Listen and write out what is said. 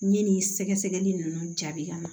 N ɲe nin sɛgɛsɛgɛli nunnu jaabi ka na